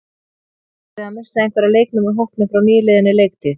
Býstu við að missa einhverja leikmenn úr hópnum frá nýliðinni leiktíð?